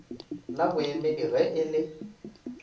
la boemedi ge e le